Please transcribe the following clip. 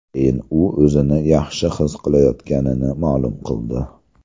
Keyin u o‘zini yaxshi his qilayotganini ma’lum qildi.